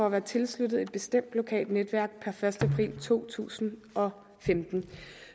at være tilsluttet et bestemt lokalt netværk per første april to tusind og femten